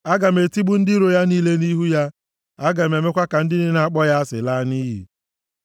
Aga m etigbu ndị iro ya niile nʼihu ya. Aga m emekwa ka ndị niile na-akpọ ya asị laa nʼiyi.